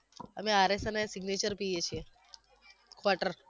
અમે RS અને signature પીએ છીએ